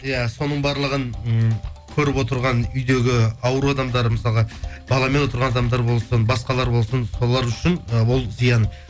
иә соның барлығын ммм көріп отырған үйдегі ауру адамдар мысалға баламен отырған адамдар болсын басқалар болсын солар үшін і ол зиян